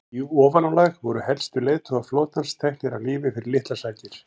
í ofanálag voru helstu leiðtogar flotans teknir af lífi fyrir litlar sakir